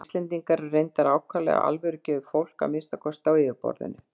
Íslendingar eru reyndar ákaflega alvörugefið fólk, að minnsta kosti á yfirborðinu.